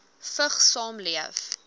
vigs saamleef